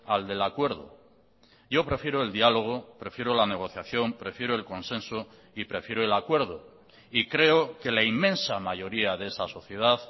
al del acuerdo yo prefiero el diálogo prefiero la negociación prefiero el consenso y prefiero el acuerdo y creo que la inmensa mayoría de esa sociedad